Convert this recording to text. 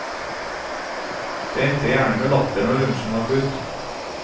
Det endte gjerne med latter når lunsjen var slutt.